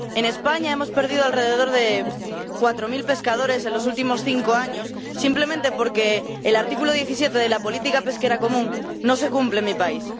En España hemos perdido alrededor de cuatro mil pescadores en los últimos cinco años, simplemente porque el artículo 17 de la política pesquera común no se cumple en mi país.